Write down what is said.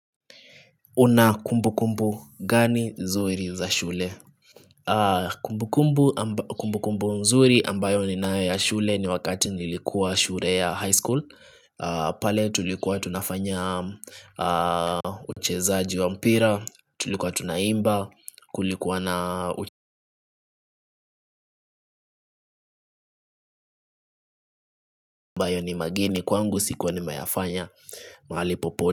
Una kumbukumbu gani nzuri za shule. Kumbukumbu nzuri ambayo ninayo ya shule ni wakati nilikuwa shule ya high school. Pale tulikuwa tunafanya uchezaji wa mpira tulikuwa tunaimba kulikuwa na ambayo ni mageni kwangu sikuwa nimeyafanya mahali popote.